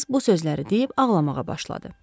Qız bu sözləri deyib ağlamağa başladı.